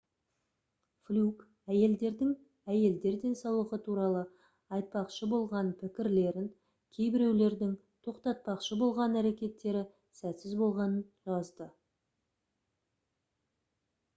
флюк әйелдердің әйелдер денсаулығы туралы айтпақшы болған пікірлерін кейбіреулердің тоқтатпақшы болған әрекеттері сәтсіз болғанын жазды